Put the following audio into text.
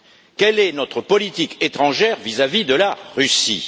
Quelle est notre politique étrangère vis à vis de la Russie?